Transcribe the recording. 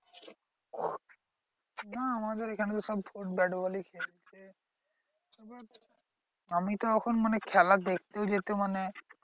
না আমাদের ঐখানে তো সব ব্যাটবলই খেলে। আমিতো এখন মানে দেখতেও যেতে মানে